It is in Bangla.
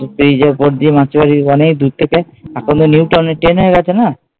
ব্রিজের ওপর দিয়ে মাসির বাড়ির অনেক দূর থেকে এখন তো নিউ টাউনে ট্রেন হয়ে গেছে না।